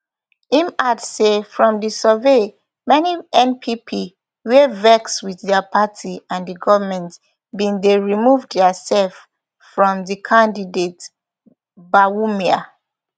im add say from di survey many npp wia vex wit dia party and di goment bin dey remove diaserf from di candidate bawumia